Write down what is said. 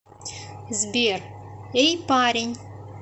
сбер эй парень